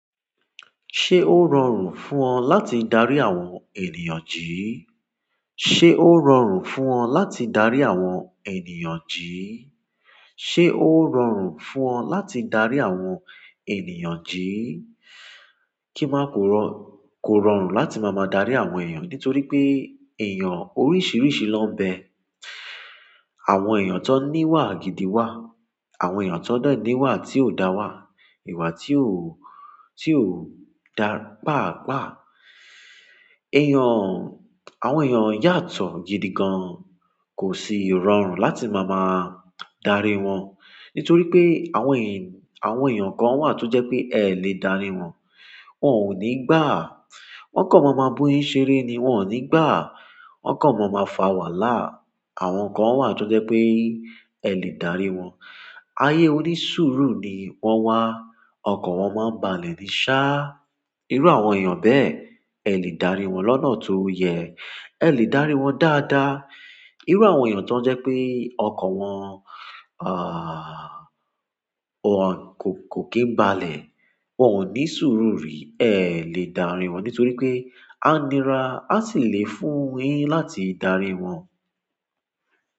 Ṣé ó rọrùn fún ọ láti darí àwọn ènìyàn jí? Sé ó rọrùn fún ọ láti darí àwọn ènìyàn jí? Sé ó rọrùn fún ọ láti darí àwọn ènìyàn jí? Ki n ma puro ko rọrùn láti ma ma dari àwọn ènìyàn nítorí eeyan oríṣiríṣi lo n be. Àwọn ènìyàn tó níwà gidi wà, àwọn ènìyàn tón de ni wà tí ò dá wà, ìwà tí ó, tí ó dá pàápàá. Ènìyàn, àwọn ènìyàn yàtọ̀ gidi gan, kò sì rọrùn láti máa máa darí wọn. Nítorí pé àwọn ènìyàn, àwọn ènìyàn kan wà tó jẹ́ pé ẹ lè dárí wọn, wọ́n ò ní gbàá, wọ́n kàn máa máa bu yin ṣeré ni wọ́n ò ní gbàá, wọ́n kàn máa máa fà wàhálà. Àwọn kan wà tó jẹ́ pé ẹ lè dárí wọn. Ayé onísùúrù ni wọ́n wà, ọkan wọn máa ń balẹ̀ ní sá. Irú àwọn ènìyàn bẹ́ẹ̀ ẹ lè dárí wọn lọ́nà tó yẹ, ẹ lè dárí wọn dáadáa. Irú àwọn ènìyàn tó jẹ́ pé ọkan wọn, àh, wọ́n kò, kò kí n balẹ̀, wọ́n ò ní sùúrù rí, ẹ lè dárí wọn nítorí pé a nira a sì lè fún yin láti darí wọn.